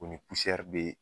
U be